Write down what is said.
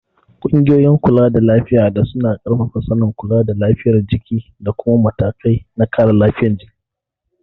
Ƙungiyoyin kulada lafiya da suna ƙarfafa sanin kula da lafiyar jiki da kuma matakai na kare lafiyar jiki.